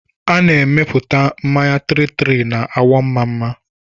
A na-emepụta mmanya 33 na Awọmmamma